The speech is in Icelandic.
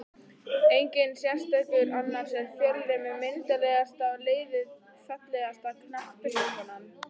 Enginn sérstakur annars er fjölnir með myndarlegasta liðið Fallegasta knattspyrnukonan?